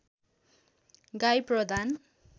गाई प्रदान